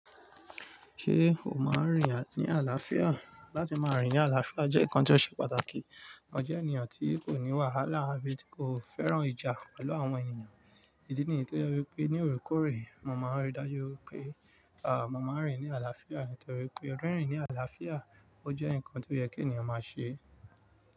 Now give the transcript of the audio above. Ṣé o máa ń rìn ní àlàáfíà? Látí máa rìn ní àlàáfíà jẹ́ nǹkan tó ṣe pàtàkì. Mo jẹ́ ènìyàn tí kò ní wàhálà àbí tí kò fẹ́ràn ìjà pẹ̀lú àwọn ènìyàn. Ìdí nìyí tó yẹ wípé ní orekoore, mo máa ń rí i dájú wípé, mo máa ń rìn ní àlàáfíà nítorí pé rírin ní àlàáfíà, ó jẹ́ ǹkan tó yẹ kí ènìyàn máa ṣe.